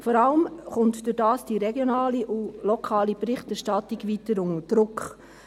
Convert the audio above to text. Vor allem kommt dadurch die regionale und lokale Berichterstattung weiter unter Druck.